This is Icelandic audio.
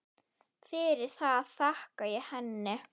Fyrir það þakka ég henni.